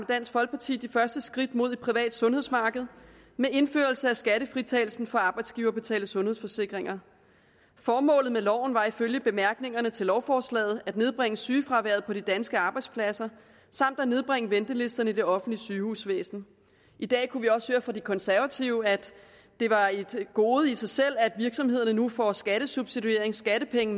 dansk folkeparti de første skridt mod et privat sundhedsmarked med indførelsen af skattefritagelsen for arbejdsgiverbetalte sundhedsforsikringer formålet med loven var ifølge bemærkningerne til lovforslaget at nedbringe sygefraværet på de danske arbejdspladser samt at nedbringe ventelisterne i det offentlige sygehusvæsen i dag kunne vi også høre fra de konservative at det var et gode i sig selv at virksomhederne nu får skattesubsidiering skattepenge